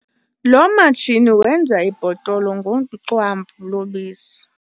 Lo matshini wenza ibhotolo ngocwambu lobisi.